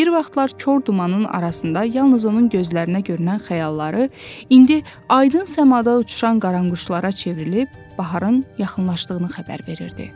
Bir vaxtlar kor dumanın arasında yalnız onun gözlərinə görünən xəyalları indi aydın səmada uçuşan qaranquşlara çevrilib baharın yaxınlaşdığını xəbər verirdi.